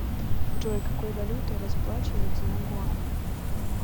джой какой валютой расплачиваются на гуаме